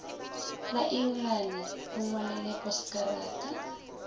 la engelane mo ngwalele poskarata